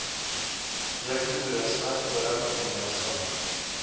ekotoerisme forum gemeenskap